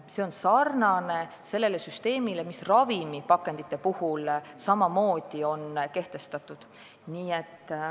Süsteem on samasugune kui ravimipakendite puhul kehtiv.